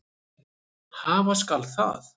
Hafa skal það.